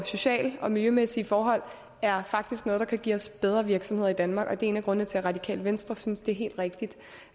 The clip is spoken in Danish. sociale og miljømæssige forhold er faktisk noget der kan give os bedre virksomheder i danmark det er en af grundene til at radikale venstre synes det er helt rigtigt